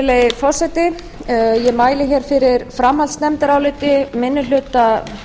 virðulegi forseti ég mæli fyrir framhaldsnefndaráliti manni hluta